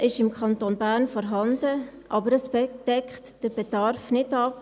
Wissen ist im Kanton Bern vorhanden, aber es deckt den Bedarf nicht ab.